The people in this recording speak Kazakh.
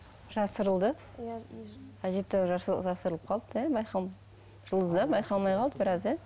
жасырылды әжептәуір жасырылып қалыпты иә жұлдыз иә байқалмай қалды біраз иә